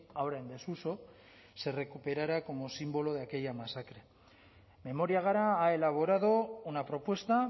ahora en desuso se recuperara como símbolo de aquella masacre memoria gara ha elaborado una propuesta